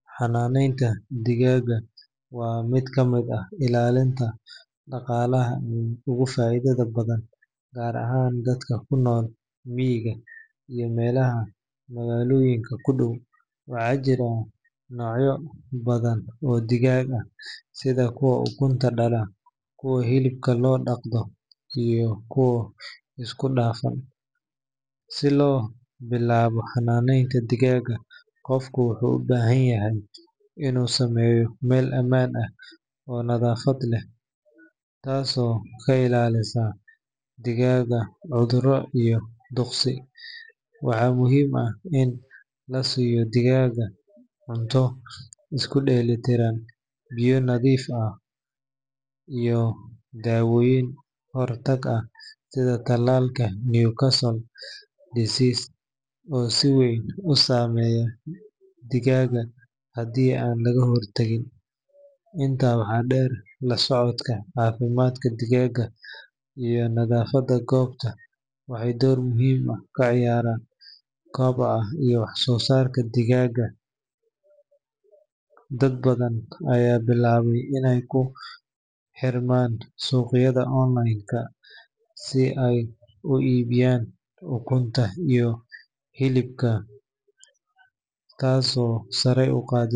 Xanaaneynta digaagga waa mid ka mid ah ilaha dhaqaalaha ee ugu faa’iidada badan gaar ahaan dadka ku nool miyiga iyo meelaha magaalooyinka ku dhow. Waxaa jira noocyo badan oo digaag ah sida kuwa ukunta dhala, kuwa hilibka loo dhaqdo iyo kuwo isku dhafan. Si loo bilaabo xanaaneynta digaagga, qofku wuxuu u baahan yahay inuu sameeyo meel ammaan ah oo nadaafad leh, taasoo ka ilaalisa digaagga cudurro iyo duqsi. Waxaa muhiim ah in la siiyo digaagga cunto isku dheelitiran, biyo nadiif ah iyo daawooyin ka hortag ah sida tallaalka Newcastle disease oo si weyn u saameeya digaagga haddii aan laga hor tagin. Intaa waxaa dheer, la socodka caafimaadka digaagga iyo nadaafadda goobta waxay door muhiim ah ka ciyaaraan koboca iyo wax-soosaarka digaagga. Dad badan ayaa bilaabay inay ku xirmaan suuqyada online si ay u iibiyaan ukunta iyo hilibka, taasoo sare u qaaday.